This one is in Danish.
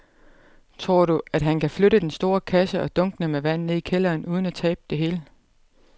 Tror du, at han kan flytte den store kasse og dunkene med vand ned i kælderen uden at tabe det hele?